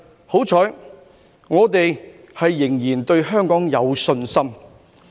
幸好，我們仍然對香港有信心。